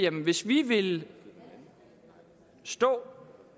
at hvis vi vil stå